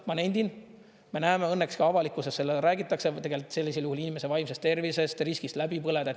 Ma nendin, me näeme õnneks ka avalikkuses, räägitakse tegelikult sellisel juhul inimese vaimsest tervisest, riskist läbi põleda.